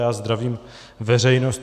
Já zdravím veřejnost.